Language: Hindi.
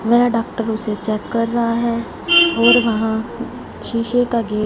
मेल डॉक्टर उसे चेक कर रहा है और वहां शीशे का गेट --